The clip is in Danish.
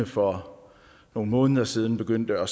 for nogle måneder siden begyndte at